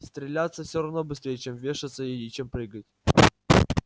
стреляться всё равно быстрей чем вешаться и чем прыгать